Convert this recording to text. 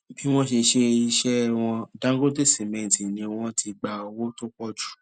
bí wọn ṣe ṣe iṣẹ wọn dangote cement ni wọn ti gba owó tó pọ jù